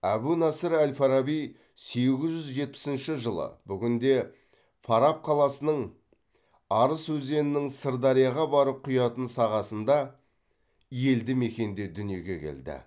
әбу насыр әл фараби сегіз жүз жетпісінші жылы бүгінде фараб қаласының арыс өзенінің сырдарияға барып құятын сағасында елді мекенде дүниеге келді